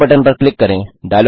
yellow button पर click करें